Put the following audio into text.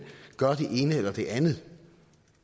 gøre det ene eller det andet